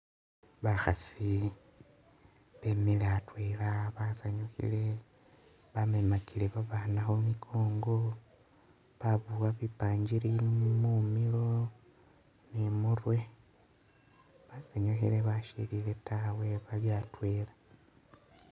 Bakhaasi bemile atwela basanyukhile bamemakile babaana khu mikongo, babowa bipangiri mumiilo ni i'murwe basanyukhile basyilile tawe bali atwela